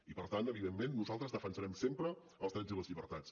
i per tant evidentment nosaltres defensarem sempre els drets i les llibertats